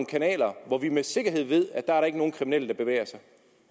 kanaler hvor vi med sikkerhed ved at der ikke er nogen kriminelle der bevæger sig